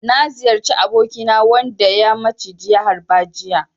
Na ziyarci abokina wanda ya maciji ya harba jiya.